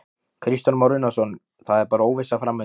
Kristján Már Unnarsson: Það er bara óvissa framundan?